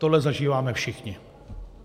Tohle zažíváme všichni.